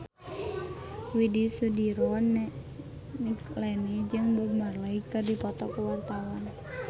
Widy Soediro Nichlany jeung Bob Marley keur dipoto ku wartawan